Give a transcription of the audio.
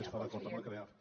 es fa d’acord amb el creaf